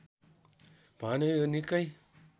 भने यो निकै